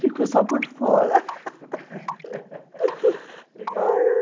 Ficou só por fora legal.